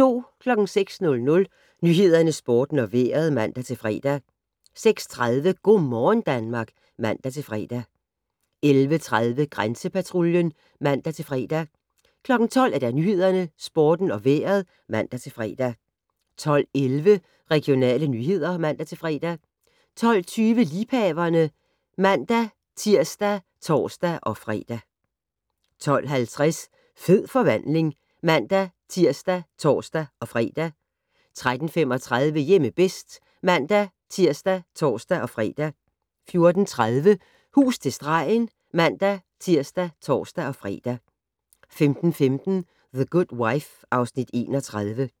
06:00: Nyhederne, Sporten og Vejret (man-fre) 06:30: Go' morgen Danmark (man-fre) 11:30: Grænsepatruljen (man-fre) 12:00: Nyhederne, Sporten og Vejret (man-fre) 12:11: Regionale nyheder (man-fre) 12:20: Liebhaverne (man-tir og tor-fre) 12:50: Fed forvandling (man-tir og tor-fre) 13:35: Hjemme bedst (man-tir og tor-fre) 14:30: Hus til stregen (man-tir og tor-fre) 15:15: The Good Wife (Afs. 31)